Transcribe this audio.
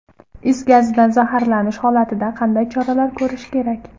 Is gazidan zaharlanish holatida qanday choralar ko‘rish kerak?.